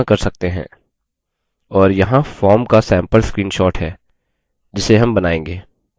और यहाँ form का सैम्पल screenshot है जिसे हम बनाएँगे